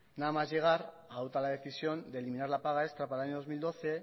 nada más llegar adopta la decisión de eliminar la paga extra para el año dos mil doce